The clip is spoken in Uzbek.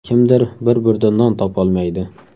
Kimdir bir burda non topolmaydi.